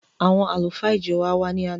Àwọn àlùfáà ìjọ wa wàá ni àná